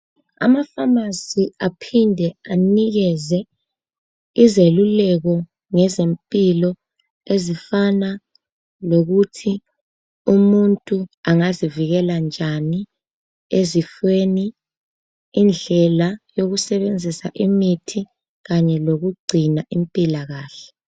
ama phamarcy aphinde anikeze izeluleko ngezempilo ezifana lokuthi umuntu angazivikela njani ezifweni indlela yokusebenzisa imithi kanye lokugcina impilakahle